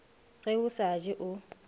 ge o sa je o